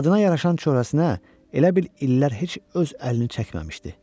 Adına yaraşan çöhrəsinə elə bil illər heç öz əlini çəkməmişdi.